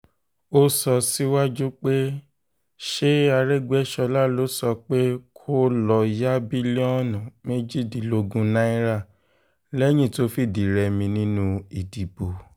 ó sọ síwájú pé ṣé àrègbéṣọlá ló sọ pé kó lọ́ọ́ ya bílíọ̀nù méjìdínlógún náírà lẹ́yìn tó fìdí-rẹmi nínú ìdìbò